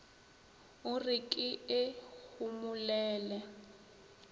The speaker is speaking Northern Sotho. o re ke e homolele